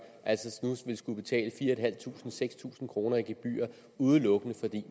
altså nu vil skulle betale fire tusind seks tusind kroner i gebyr udelukkende fordi